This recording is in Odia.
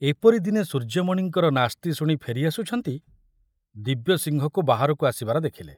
ଏପରି ଦିନେ ସୂର୍ଯ୍ୟମଣିଙ୍କର ନାସ୍ତି ଶୁଣି ଫେରି ଆସୁଛନ୍ତି, ଦିବ୍ୟସିଂହକୁ ବାହାରକୁ ଆସିବାର ଦେଖିଲେ।